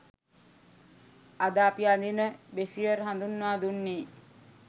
අද අපි අඳින බ්‍රෙෂියර් හඳුන්වා දුන්නෙ.